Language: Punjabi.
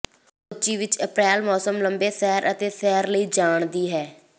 ਸੋਚੀ ਵਿੱਚ ਅਪ੍ਰੈਲ ਮੌਸਮ ਲੰਬੇ ਸੈਰ ਅਤੇ ਸੈਰ ਲਈ ਜਾਣ ਦੀ ਹੈ